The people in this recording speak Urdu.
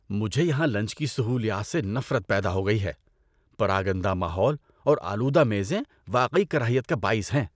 مجھے یہاں لنچ کی سہولیات سے نفرت پیدا ہو گئی ہے – پراگندہ ماحول اور آلودہ میزیں واقعی کراہیت کا باعث ہیں